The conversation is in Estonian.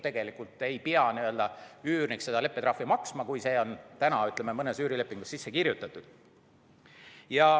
Tegelikult ei pea üürnik leppetrahvi maksma, kui see on täna mõnda üürilepingusse sisse kirjutatud.